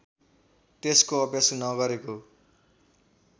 त्यसको अभ्यास नगरेको